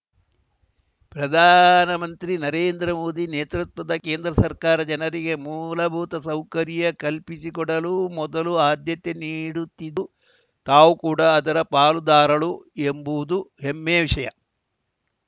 ಪ್ರಧಾನಮಂತ್ರಿ ನರೇಂದ್ರಮೋದಿ ನೇತೃತ್ವದ ಕೇಂದ್ರ ಸರ್ಕಾರ ಜನರಿಗೆ ಮೂಲಭೂತ ಸೌಕರ್ಯ ಕಲ್ಪಿಸಿಕೊಡಲು ಮೊದಲು ಆದ್ಯತೆ ನೀಡುತ್ತಿದ್ದು ತಾವು ಕೂಡಾ ಅದರ ಪಾಲುದಾರಳು ಎಂಬುದು ಹೆಮ್ಮೆಯ ವಿಷಯ